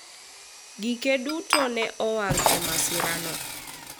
gike duto ne owang' e masira no